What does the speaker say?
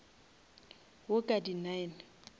wo ka di nine